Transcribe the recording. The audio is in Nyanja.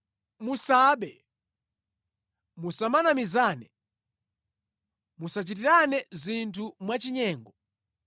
“ ‘Musabe. “ ‘Musamanamizane. “ ‘Musachitirane zinthu mwachinyengo.